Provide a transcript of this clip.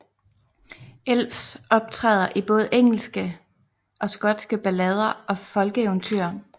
Elfs optræder i både engelske og skotske ballader og folkeeventyr